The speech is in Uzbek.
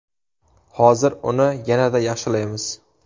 Hozir uni yanada yaxshilaymiz!